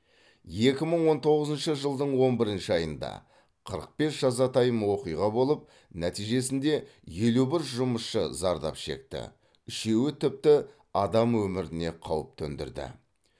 екі мың он тоғызыншы жылдың он бір айында қырық бес жазатайым оқиға болып нәтижесінде елу бір жұмысшы зардап шекті үшеуі тіпті адам өміріне қауіп төндірді